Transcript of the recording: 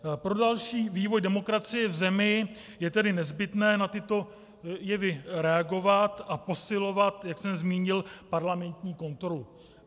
Pro další vývoj demokracie v zemi je tedy nezbytné na tyto jevy reagovat a posilovat, jak jsem zmínil, parlamentní kontrolu.